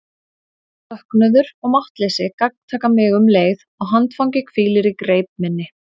Söknuður og máttleysi gagntaka mig um leið og handfangið hvílir í greip minni.